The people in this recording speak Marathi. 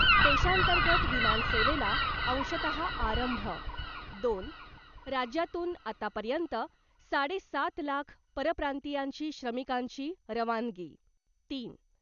देशांतर्गत विमानसेवेला अंशतः आरंभ , दोन. राज्यातून आतापर्यंत साडे सात लाख परप्रांतीयांची श्रमिकांची रवानगी तीन.